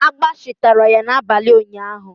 Agbashi tara ya n'abalị ụnyaahụ.